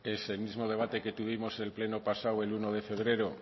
es el mismo debate que tuvimos el pleno pasado el uno de febrero